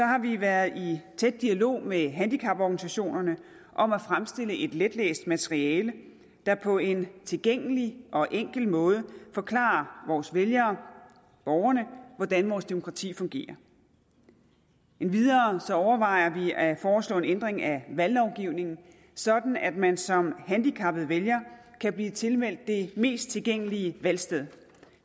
har vi været i tæt dialog med handicaporganisationerne om at fremstille et letlæseligt materiale der på en tilgængelig og enkel måde forklarer vores vælgere borgerne hvordan vores demokrati fungerer endvidere overvejer vi at foreslå en ændring af valglovgivningen sådan at man som handicappet vælger kan blive tilmeldt det mest tilgængelige valgsted